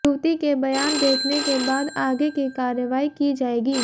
युवती के बयान देखने के बाद आगे की कार्रवाई की जाएगी